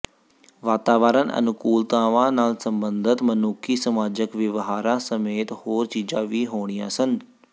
ਵਾਤਾਵਰਣ ਅਨੁਕੂਲਤਾਵਾਂ ਨਾਲ ਸੰਬੰਧਤ ਮਨੁੱਖੀ ਸਮਾਜਕ ਵਿਵਹਾਰਾਂ ਸਮੇਤ ਹੋਰ ਚੀਜ਼ਾਂ ਵੀ ਹੋਣੀਆਂ ਸਨ